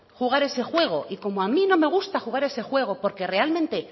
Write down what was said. jugar a ese juego y como a mí no me gusta jugar a ese juego porque realmente